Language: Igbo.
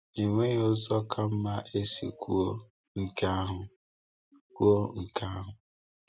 Enweghị ụzọ ka mma esi kwuo nke ahụ. kwuo nke ahụ.